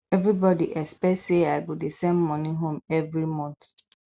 everybody expect sey i go dey send money home every month